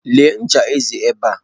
Lee ncha eze ebe a.